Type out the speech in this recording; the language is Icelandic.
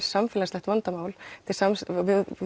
samfélagslegt vandamál og við